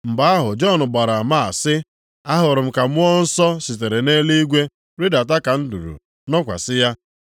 Mgbe ahụ Jọn gbara ama a sị, “Ahụrụ m ka Mmụọ Nsọ sitere nʼeluigwe rịdata dị ka nduru, nọkwasị ya.